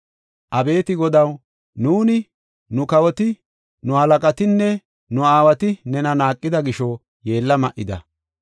Abeeti Godaw, nuuni, nu kawoti, nu halaqatinne nu aawati nena naaqida gisho yeella ma7ida.